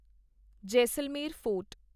Jaisalmer fort